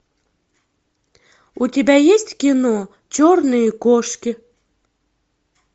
у тебя есть кино черные кошки